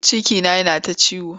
Cikina yana ta ciwo.